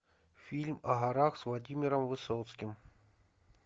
фильм о горах с владимиром высоцким